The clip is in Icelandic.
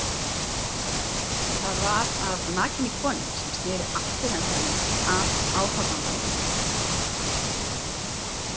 Það var af nakinni konu sem sneri afturendanum að áhorfandanum.